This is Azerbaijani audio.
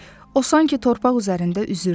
O sanki torpaq üzərində üzürdü.